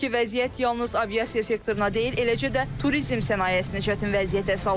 Hazırki vəziyyət yalnız aviasiya sektoruna deyil, eləcə də turizm sənayesini çətin vəziyyətə salıb.